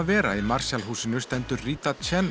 Vera í Marshall húsinu stendur Rita